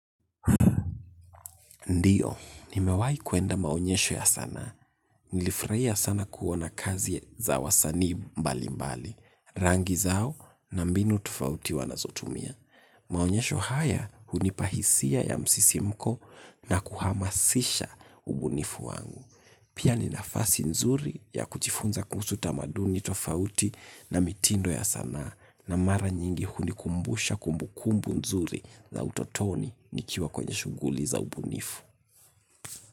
Ndiyo, nimewahi kwenda maonyesho ya sanaa. Nilifurahia sana kuona kazi za wasanii mbalimbali. Rangi zao na mbinu tofauti wanazotumia. Maonyesho haya hunipa hisia ya msisimko na kuhamasisha ubunifu wangu. Pia ni nafasi nzuri ya kujifunza kuhusu tamaduni tofauti na mitindo ya sanaa. Na mara nyingi hunikumbusha kumbukumbu nzuri za utotoni nikiwa kwenye shughuli za ubunifu.